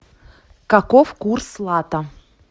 каков курс лата